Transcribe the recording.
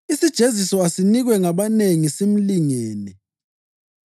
Isijeziso asinikwe ngabanengi simlingene.